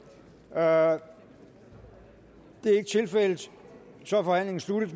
er ikke tilfældet så er forhandlingen sluttet